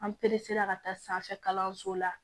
An perese la ka taa sanfɛ kalanso la